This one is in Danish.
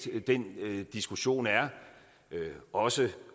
den diskussion er også